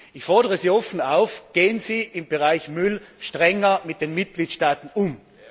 Ich fordere Sie offen auf, gehen Sie im Bereich Müll strenger mit den Mitgliedstaaten um!